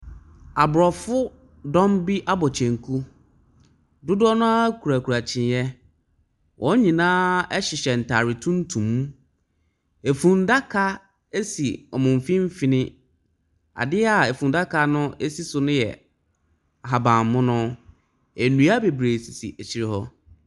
Aborofo dɔm bi abɔ kyenku, dodoɔ naa kurakura kyiniiɛ. Wɔnyinaa ɛhyehyɛ ntaare tuntum, efundaka esi ɔmo mfinfini. Adeɛ efundaka no esi so no yɛ ahabammono. ndua bebree sisi ekyire hɔ.